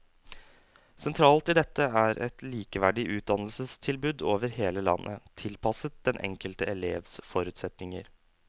Sentralt i dette er et likeverdig utdannelsestilbud over hele landet, tilpasset den enkelte elevs forutsetninger.